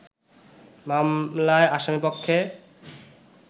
মামলায় আসামিপক্ষে